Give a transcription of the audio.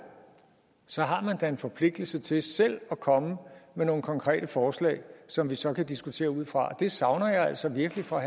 så har man da ligesom en forpligtelse til selv at komme med nogle konkrete forslag som vi så kan diskutere ud fra det savner jeg altså virkelig fra